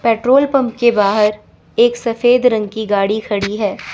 Petrol pump के बाहर एक सफेद रंग की गाड़ी खड़ी है।